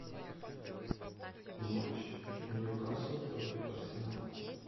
матч ньюкасл против арсенала